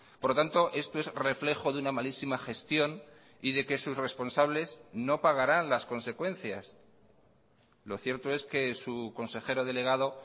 por lo tanto esto es reflejo de una malísima gestión y de que sus responsables no pagarán las consecuencias lo cierto es que su consejero delegado